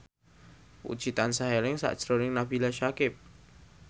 Puji tansah eling sakjroning Nabila Syakieb